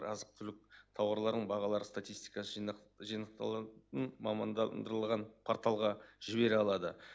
азық түлік тауарларының бағалары статистикасы жинақ жинақталатын мамандандырылған порталға жібере алады